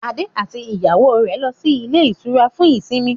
Adé àti ìyàwó rẹ̀ lọ sí ilé-ìtura fún ìsimi.